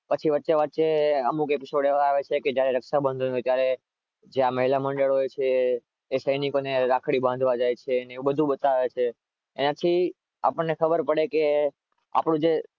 વચ્ચે વચ્ચે અમુક એપિસોડ એવા આવે છે.